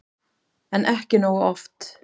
En ekki nógu oft.